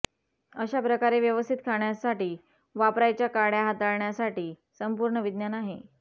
अशा प्रकारे व्यवस्थित खाण्यासाठी वापरायच्या काड्या हाताळण्यासाठी संपूर्ण विज्ञान आहे